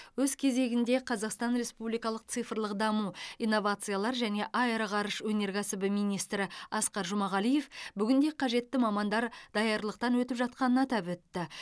өз кезегінде қазақстан республикалық цифрлық даму инновациялар және аэроғарыш өнеркәсібі министрі асқар жұмағалиев бүгінде қажетті мамандар дарлықтан өтіп жатқанын атап өтті